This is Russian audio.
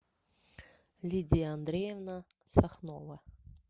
лидия андреевна сахнова